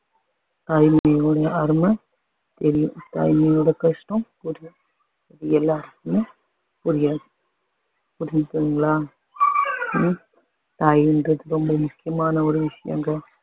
தாய்மையோட அருமை தெரியும் தாய்மையோட கஷ்டம் புரியும் உங்க எல்லாருக்குமே புரியாது புரியுதுங்களா உம் தாயின்றது ரொம்ப முக்கியமான ஒரு விஷயங்க